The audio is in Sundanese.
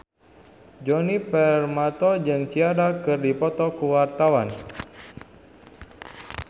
Djoni Permato jeung Ciara keur dipoto ku wartawan